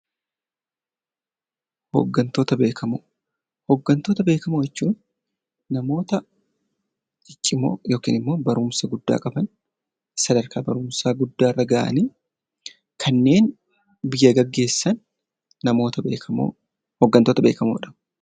Hoggantoota beekamoo Hoggantoota beekamoo jechuun namoota ciccimoo yookiis immoo barumsa guddaa qaban, sadarkaa barumsaa guddaa irra gahanii kanneen biyya geggeessan Hoggantoota beekamoo dha.